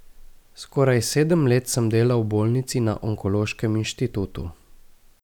Skoraj sedem let sem delal v bolnici na onkološkem inštitutu.